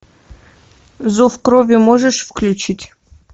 зов крови можешь включить